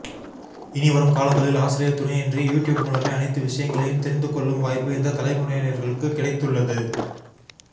இனிவரும் காலங்களில் ஆசிரியர் துணையின்றி யூடியூப் மூலமே அனைத்து விஷயங்களையும் தெரிந்து கொள்ளும் வாய்ப்பு இந்த தலைமுறையினர்களுக்கு கிடைத்துள்ளது